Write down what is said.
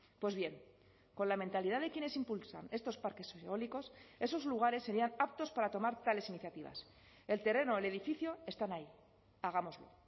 pues bien con la mentalidad de quienes impulsan estos parques eólicos esos lugares serían aptos para tomar tales iniciativas el terreno o el edificio están ahí hagámoslo